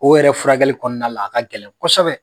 O yɛrɛ furakɛli kɔɔna la a ka gɛlɛn kɔsɛbɛ.